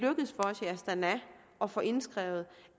astana at få indskrevet